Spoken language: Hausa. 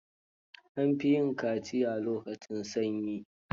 An fi yin kaciya a lokacin sanyi.